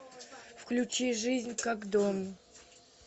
включи жизнь как дом